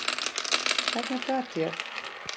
Hvernig gat ég.